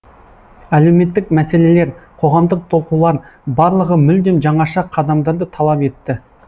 әлеуметтік мәселелер қоғамдық толқулар барлығы мүлдем жаңаша қадамдарды талап етті